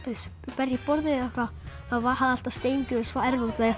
berja í borðið eða eitthvað þá hafði alltaf Steingrímur svarið út af því